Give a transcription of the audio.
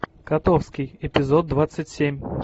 котовский эпизод двадцать семь